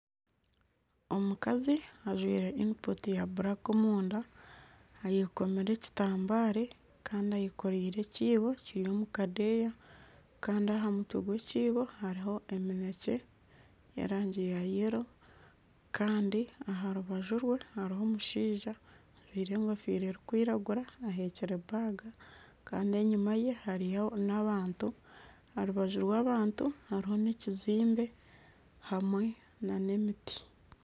Omukazi ajwire iniputi ya buraka omunda ayekomire ekitambare kandi ayekoreire ekiibo Kiri omukadeya Kandi ahamutwe omukiibo haruho eminekye y'erangi ya yero kandi aharubaju rwe haruho omushaija ajwire engofira erukwiragura ahekyire baga kandi enyuma ye hariyo n'abantu aharubaju rw'abantu harumu n'ekizimbe hamwe n'emiti.